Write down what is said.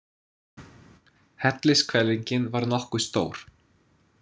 Hellishvelfingin var nokkuð stór.